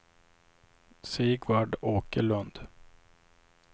Sigvard Åkerlund